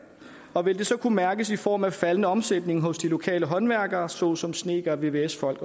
og vil det så kunne mærkes i form af faldende omsætning hos de lokale håndværkere såsom snedkere vvs folk